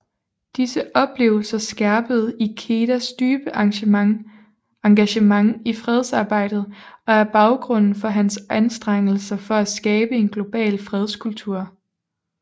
Disse oplevelser skærpede Ikedas dybe engagement i fredsarbejdet og er baggrunden for hans anstrengelser for at skabe en global fredskultur